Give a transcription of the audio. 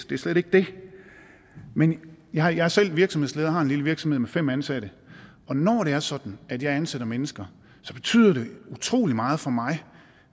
det er slet ikke det men jeg er selv virksomhedsleder jeg har en lille virksomhed med fem ansatte og når det er sådan at jeg ansætter mennesker betyder det utrolig meget for mig